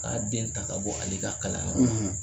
K'a den ta ka bɔ ale ka kalanyɔrɔ la.